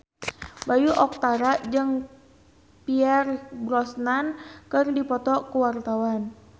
Bayu Octara jeung Pierce Brosnan keur dipoto ku wartawan